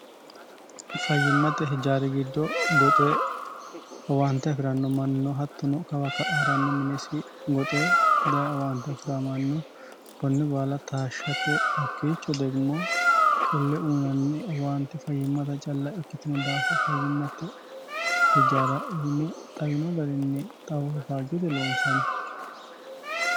fayyimmate hijaari giddo goxe owaante afiranno manno hattono kawa ka'aaranni minisi goxe daye owaante afi'ramanno kunni baala taashshate hakkiicho degimo qolle uunanni owaante fayyimmata calla ikkitino daafa fayyimmatte hijara yine xawino garinni xawoho faajjote loonsanni